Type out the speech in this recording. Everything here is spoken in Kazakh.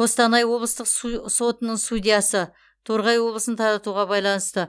қостанай облыстық су сотының судьясы торғай облысын таратуға байланысты